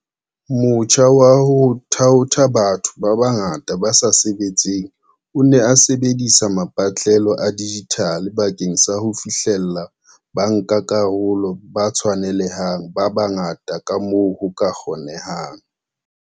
Motjha wa ho thaotha batho ba bangata ba sa sebetseng o ne o sebedisa mapatlelo a dijithale bakeng sa ho fihlella bankakarolo ba tshwanele hang ba bangata kamoo ho ka kgonehang.